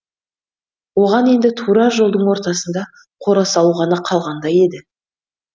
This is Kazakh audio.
оған енді тура жолдың ортасында қора салу ғана қалғандай еді